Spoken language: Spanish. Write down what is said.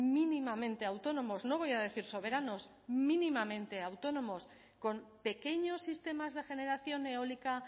mínimamente autónomos no voy a decir soberanos mínimamente autónomos con pequeños sistemas de generación eólica